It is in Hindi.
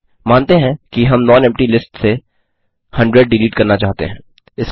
मानते हैं कि हम नॉनेम्पटी लिस्ट से 100 डिलीट करना चाहते हैं